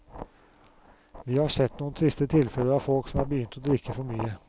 Vi har sett noen triste tilfeller av folk som er begynt å drikke for mye.